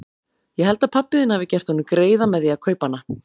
Ég held að pabbi þinn hafi gert honum greiða með því að kaupa hana.